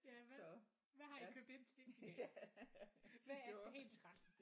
Ja hvad har i købt ind til? Hvad er dagens ret?